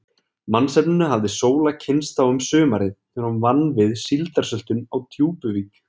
Mannsefninu hafði Sóla kynnst þá um sumarið, þegar hún vann við síldarsöltun á Djúpuvík.